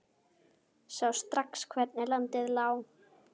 Sá strax hvernig landið lá.